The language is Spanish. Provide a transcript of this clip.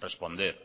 responder